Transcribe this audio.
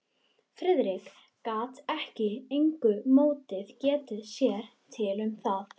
Friðrik gat með engu móti getið sér til um það.